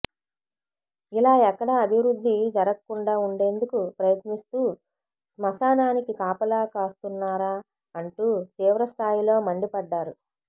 ఇలా ఎక్కడా అభివృద్ధి జరక్కుండా ఉండేందుకు ప్రయత్నిస్తూ శ్మశానానికి కాపలా కాస్తున్నారా అంటూ తీవ్ర స్థాయిలో మండిపడ్డారు